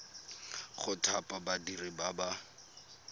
go thapa badiri ba ba